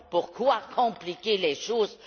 Pourquoi compliquer les choses?